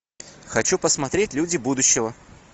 хочу посмотреть люди будущего